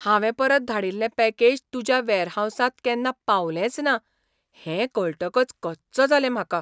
हांवें परत धाडिल्लें पॅकेज तुज्या वेअरहावसांत केन्ना पावंलेंचना हें कळटकच कच्च जालें म्हाका.